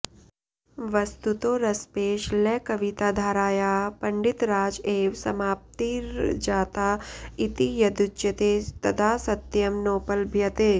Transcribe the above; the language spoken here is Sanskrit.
वस्तुतो रसपेशलकविताधारायाः पण्डितराज एव समाप्तिर्जाता इति यद्युच्यते तदा सत्यं नोपलभ्यते